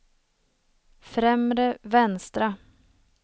främre vänstra